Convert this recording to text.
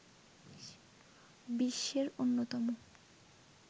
বিশ্বের অন্যতম